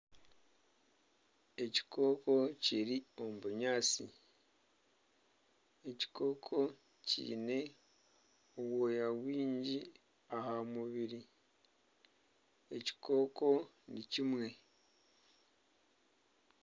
Ekikooko kiri omu bunyaatsi, ekikooko kiine obwoya bwingi aha mubiri, ekikooko ni kimwe